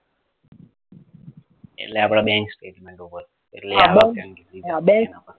એટલે આપડા bank statement ઉપર એટલે આ bank